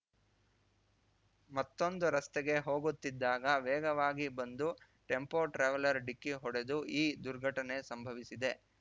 ಮತ್ತೊಂದು ರಸ್ತೆಗೆ ಹೋಗುತ್ತಿದ್ದಾಗ ವೇಗವಾಗಿ ಬಂದು ಟೆಂಪೋ ಟ್ರಾವೆಲರ್ ಡಿಕ್ಕಿ ಹೊಡೆದು ಈ ದುರ್ಘಟನೆ ಸಂಭವಿಸಿದೆ